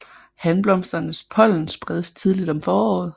Hanblomsternes pollen spredes tidligt om foråret